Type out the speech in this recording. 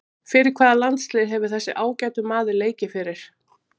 Fyrir hvaða landslið hefur þessi ágæti maður leikið fyrir?